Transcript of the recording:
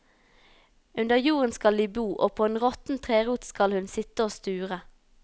Under jorden skal de bo, og på en råtten trerot skal hun sitte og sture.